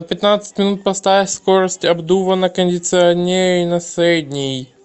на пятнадцать минут поставь скорость обдува на кондиционере на средний